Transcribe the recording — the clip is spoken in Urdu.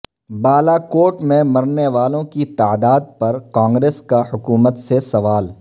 بالاکوٹ میں مرنے والوں کی تعداد پر کانگریس کا حکومت سے سوال